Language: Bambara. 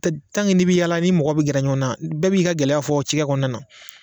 n'i bɛ yaala ni mɔgɔ bɛ gɛrɛ ɲɔgɔn na bɛɛ b'i gɛlɛya fɔ cikɛ kɔnɔna na